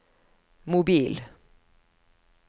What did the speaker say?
mobil